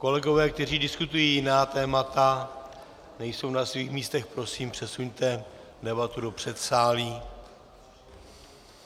Kolegové, kteří diskutují jiná témata, nejsou na svých místech, prosím, přesuňte debatu do předsálí.